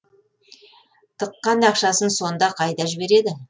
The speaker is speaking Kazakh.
тыққан ақшасын сонда қайда жібереді